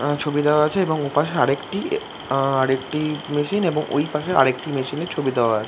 আঁ ছবি দেওয়া আছে এবং ওপাশে আর একটি মেশিন আঁ ওপাশে আর একটি মেশিন ছবি দেওয়া আছে ।